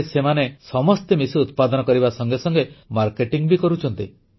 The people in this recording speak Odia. ଏବେ ସେମାନେ ସମସ୍ତେ ମିଶି ଉତ୍ପାଦନ କରିବା ସଙ୍ଗେ ସଙ୍ଗେ ମାର୍କେଟିଂ ବି କରୁଛନ୍ତି